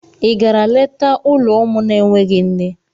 I gara leta ụlọ ụmụ na-enweghị nne?